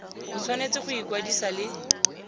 o tshwanetse go ikwadisa le